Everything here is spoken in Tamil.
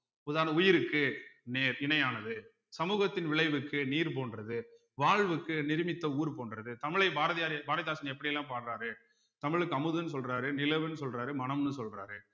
உதாரண உயிருக்கு நேர் இணையானது சமூகத்தின் விளைவுக்கு நீர் போன்றது வாழ்வுக்கு நிருமித்த ஊர் போன்றது தமிழை பாரதியார் பாரதிதாசன் எப்படி எல்லாம் பாடுறாரு தமிழ்க்கு அமுதுன்னு சொல்றாரு நிலவுன்னு சொல்றாரு மனம்னு சொல்றாரு